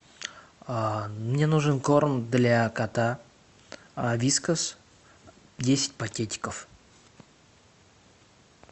мне нужен корм для кота вискас десять пакетиков